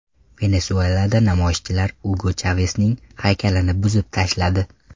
Venesuelada namoyishchilar Ugo Chavesning haykalini buzib tashladi.